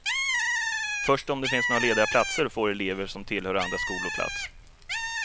Först om det finns några lediga platser får elever som tillhör andra skolor plats.